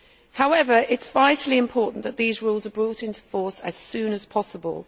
However, it is vitally important that these rules are brought into force as soon as possible.